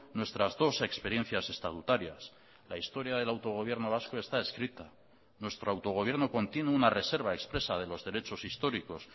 nuestras dos experiencias estatutarias la historia del autogobierno vasco está escrita nuestro autogobierno contiene una reserva expresa de los derechos históricos